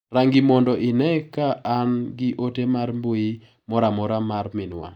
Rang'i mondo ine ka an gi ote mar mbui moro amora mar minwa.